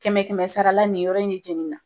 Kɛmɛ kɛmɛ sarala nin yɔrɔ in de jenina